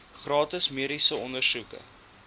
gratis mediese ondersoeke